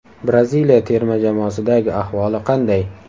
Braziliya terma jamoasidagi ahvoli qanday?